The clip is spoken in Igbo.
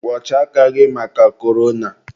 kwọchaa aka gị maka korona!